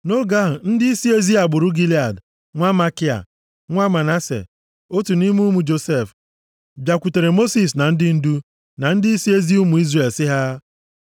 Nʼoge ahụ, ndịisi ezi agbụrụ Gilead, nwa Makia, nwa Manase, otu nʼime ụmụ Josef, bịakwutere Mosis na ndị ndu, na ndịisi ezi ụmụ Izrel sị ha: